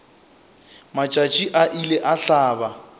matšatši a ile a hlaba